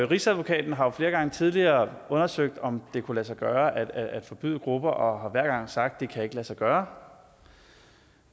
rigsadvokaten har jo flere gange tidligere undersøgt om det kunne lade sig gøre at forbyde grupper og har hver gang sagt det kan lade sig gøre